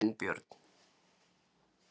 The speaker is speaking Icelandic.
Arinbjörn